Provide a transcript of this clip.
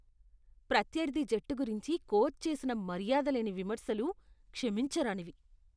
ప్రత్యర్థి జట్టు గురించి కోచ్ చేసిన మర్యాదలేని విమర్శలు క్షమించరానివి.